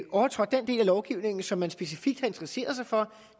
overtrådt den del af lovgivningen som man specifikt har interesseret sig for